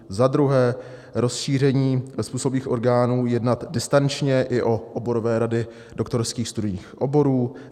Za druhé rozšíření způsobilých orgánů jednat distančně i o oborové rady doktorských studijních oborů.